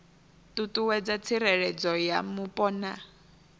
ṱuṱuwedza tsireledzo ya mupo na